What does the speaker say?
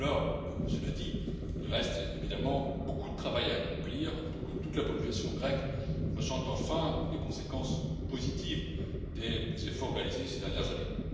Alors, cela dit, il reste évidemment beaucoup de travail à accomplir pour que toute la population grecque ressente enfin les conséquences positives des efforts réalisés ces dernières années.